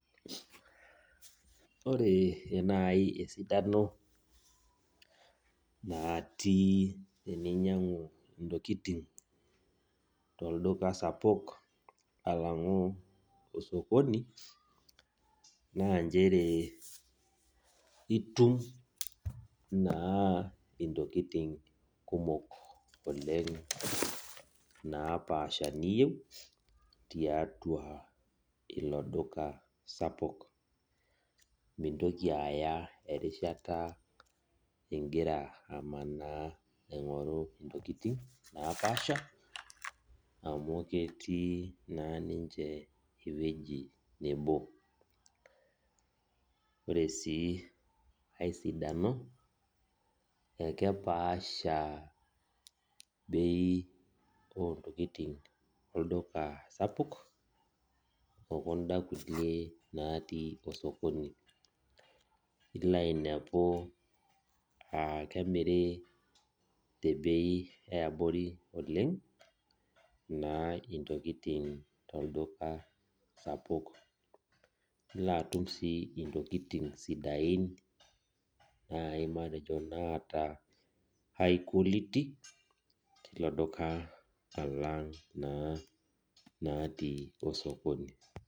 Ore nai esidano natii eninyangu ntokitin tolduka sapuk alangu osokoni na nchere itum na ntokitin kumok oleng napaasha niyieu tiatua ilo dika sapuk mintoki aya erishata sapuk ingira aingoru ntokikini napasha amu ketii na ninche ewoi nabo ore si ai sidano akepaasha bei ontokitin natii olduka sapuk okunda kulie natii osokoni ilainepu aa kemiri tebei eabori intokitin tolduka sapuk ilobatum si ntokitin sidain nai matejo naata high quality tilo duka alang natii osokoni.